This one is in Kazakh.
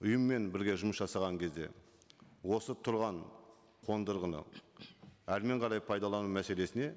ұйыммен бірге жұмыс жасаған кезде осы тұрған қондырғыны әрмен қарай пайдалану мәселесіне